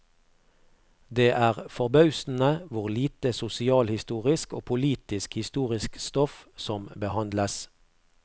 Det er forbausende hvor lite sosialhistorisk og politisk historisk stoff som behandles.